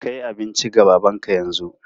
Kai abinci ga babanka yanzu!